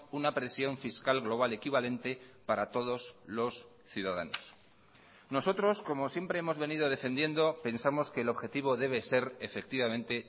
una presión fiscal global equivalente para todos los ciudadanos nosotros como siempre hemos venido defendiendo pensamos que el objetivo debe ser efectivamente